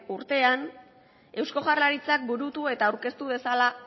urtean eusko jaurlaritzak burutu eta aurkeztu dezala